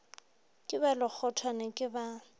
ke ba lekgothwane ke ba